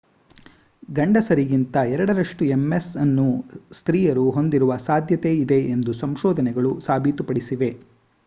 ಗಂಡಸರಿಗಿಂತ ಎರಡರಷ್ಟು ms ಅನ್ನು ಸ್ತ್ರೀಯರು ಹೊಂದಿರುವ ಸಾಧ್ಯತೆಯಿದೆ ಎಂದು ಸಂಶೋಧನೆಗಳು ಸಾಬೀತುಪಡಿಸಿವೆ